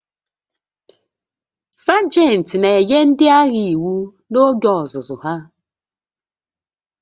Sajent na-enye ndị agha iwu n'oge ọzụzụ ha